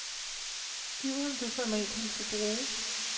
Giv ham det format, han skal bruge.